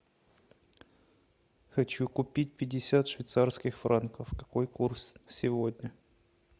хочу купить пятьдесят швейцарских франков какой курс сегодня